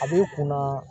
A b'i kunna